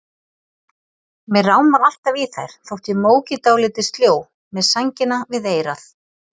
Mig rámar alltaf í þær þótt ég móki dálítið sljó, með sængina við eyra.